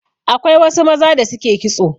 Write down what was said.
Akwai wasu maza da suke kitso.